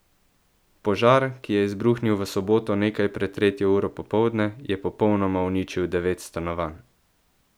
Požar, ki je izbruhnil v soboto nekaj pred tretjo uro popoldne, je popolnoma uničil devet stanovanj.